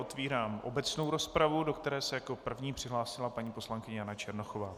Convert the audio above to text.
Otevírám obecnou rozpravu, do které se jako první přihlásila paní poslankyně Jana Černochová.